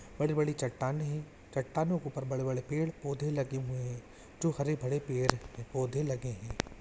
बड़ी-बड़ी चट्टान है चट्टानों के ऊपर बड़े-बड़े पेड़-पौधे लगे हुए है जो हरे-भरे पेड़-पौधे लगे है।